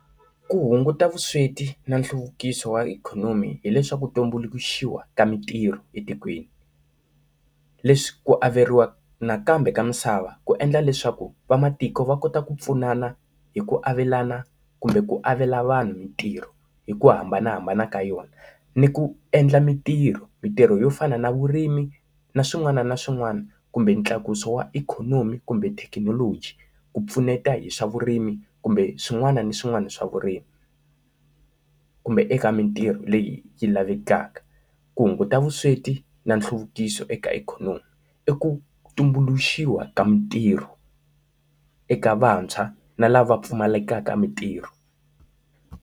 ku hunguta vusweti na nhluvukiso wa ikhonomi hileswaku tumbuluxiwa ka mitirho etikweni. Leswi ku averiwa nakambe ka misava ku endla leswaku vamatiko va kota ku pfunana hi ku avelana kumbe ku avela vanhu mitirho hi ku hambanahambana ka yona. Ni ku endla mintirho, mitirho yo fana na vurimi na swin'wana na swin'wana kumbe ntlakuso wa ikhonomi kumbe thekinoloji ku pfuneta hi swa vurimi kumbe swin'wana na swin'wana swa vurimi, Kumbe eka mitirho leyi yi lavekaka. Ku hunguta vusweti na nhluvukiso eka ikhonomi i ku tumbuluxiwa ka mitirho eka vantshwa na lava pfumalaka mitirho.